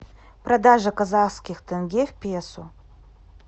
продажа казахских тенге в песо